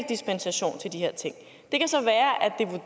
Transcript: dispensation til de her ting